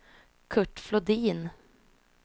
Kurt Flodin